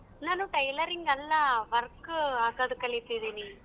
ನಾನು tailoring ಅಲ್ಲಾ work ಹಾಕದ್ ಕಲಿತಿದೀನಿ.